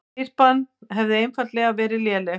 Spyrnan hefði einfaldlega verið léleg